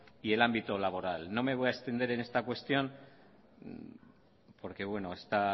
y el ámbito laboral no me voy a extender en esta cuestión porque está